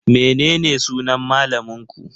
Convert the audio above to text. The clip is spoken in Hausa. Menene sunan malamin ku?